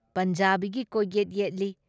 ꯄꯟꯖꯥꯕꯤꯒꯤ ꯀꯣꯛꯌꯦꯠ ꯌꯦꯠꯂꯤ ꯫